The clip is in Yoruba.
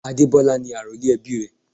Adebola ni àrólé ẹbí rè.